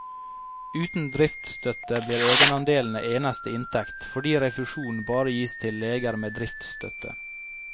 Uten driftsstøtte blir egenandelene eneste inntekt, fordi refusjon bare gis til leger med driftsstøtte.